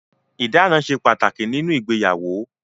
Ìdána ṣe pàtàkì nínú ìgbéyàwó.